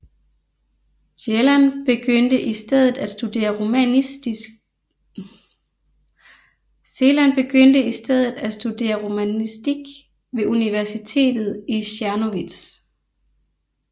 Celan begyndte i stedet at studere romanistik ved universitetet i Czernowitz